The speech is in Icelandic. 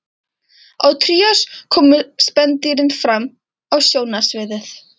Á trías koma spendýrin fram á sjónarsviðið.